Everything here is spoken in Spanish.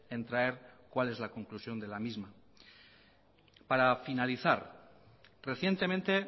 en traer cual es la conclusión de la misma para finalizar recientemente